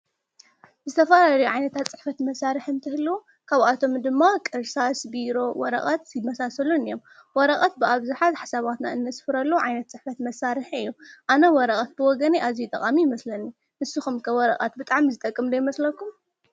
ዝተፋላለዩ ዓይነታ ጽሕፈት መሣርሕ እንትህልው ካብኣቶም ድማ እርሳስ፣ ቢሮ ፣ወረቓት፣ ዝ መሳሰሉን እዮም። ወረቓት ብኣብዝኃት ኣኅሳባትና እንስፍረሎ ዓይነት ጽሕፈት መሣርሕ እዮ ኣነ ወረቐት ብወገነ ኣዙይ ጠቓሚ ይመስለኒ ንስኸምከወረቓት ብጣም ዝጠቅምዶ ኣይመስለኩም?